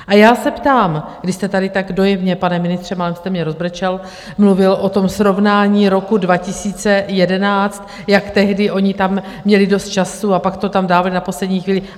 A já se ptám, když jste tady tak dojemně, pane ministře, málem jste mě rozbrečel, mluvil o tom srovnání roku 2011, jak tehdy oni tam měli dost času a pak to tam dávali na poslední chvíli.